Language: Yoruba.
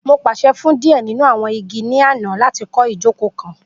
Mo paṣẹ fun diẹ ninu awọn igi ni ana lati kọ ijoko kan